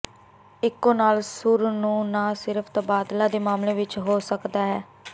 ਇਕੋ ਨਾਲ ਸੂਰ ਨੂੰ ਨਾ ਸਿਰਫ ਤਬਾਦਲਾ ਦੇ ਮਾਮਲੇ ਵਿੱਚ ਹੋ ਸਕਦਾ ਹੈ